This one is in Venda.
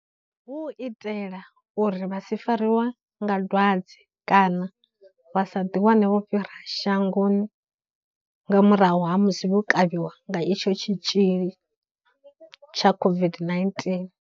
Hu u itela uri vha si fariwe nga dwadze kana vha sa ḓiwane vho fhira shangoni nga murahu ha musi vho kavhiwa nga itsho tshitzhili tsha COVID-19.